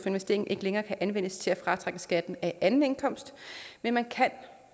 investering ikke længere kan anvendes til at fratrække skatten af anden indkomst men man kan